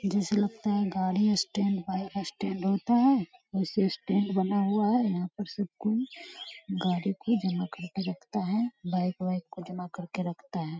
जैसे लगता है गाड़ी स्टैंड बाइक स्टैंड होता हैं वैसे स्टैंड बना हुआ है यहाँ पे सब कोई गाड़ी को जमा करके रखता हैं बाइक - वाइक को जमा करके रखता है।